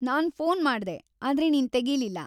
ನಾನ್‌ phone ಮಾಡ್ದೆ, ಆದ್ರೆ ನೀನ್‌ ತೆಗೀಲಿಲ್ಲ.